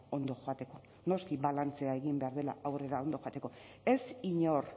ondo joateko noski balantzea egin behar dela aurrera ondo joateko ez inor